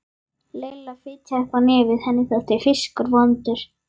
Lilla fitjaði upp á nefið, henni þótti fiskur vondur.